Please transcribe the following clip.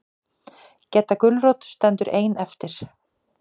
Gedda gulrót stendur ein eftir.